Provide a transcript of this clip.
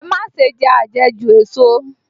Ẹ má ṣe jẹ àjẹjù èso!